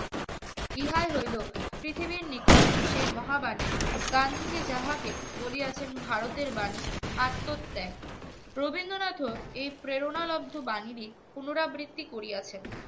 ইহাই হইল পৃথিবীর নিকট সেই মহাবানী গান্ধীজী যাহাকে বলিয়াছেন ভারতের বাণী আত্মত্যাগ রবীন্দ্রনাথও এই প্রেরণালব্ধ বাহিনীর পুনরাবৃত্তি করিয়া